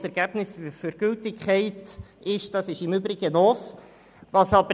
das Ergebnis bezüglich Gültigkeit ist im Übrigen noch offen.